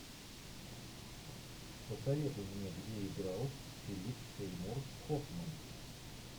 посоветуй мне где играл филипп сеймур хоффман